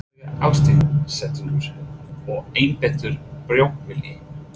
Einlægur ásetningur og einbeittur brotavilji?